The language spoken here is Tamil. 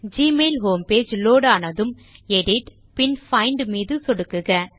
ஜிமெயில் ஹோம் பேஜ் லோட் ஆனதும் எடிட் பின் பைண்ட் மீது சொடுக்குக